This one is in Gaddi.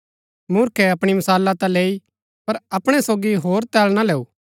मूर्खे अपणी मशाला ता लैई पर अपणै सोगी होर तेल ना लैऊ